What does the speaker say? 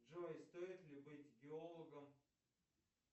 джой стоит ли быть геологом